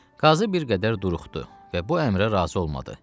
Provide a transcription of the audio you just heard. Qazı bir qədər duruxdu və bu əmrə razı olmadı.